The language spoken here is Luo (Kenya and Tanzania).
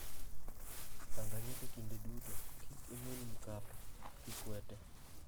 Tanganyika Kinde duto, "Kik imul Mkapa, Kikwete".